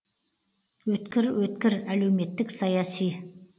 өткір өткір әлеуметтік саяси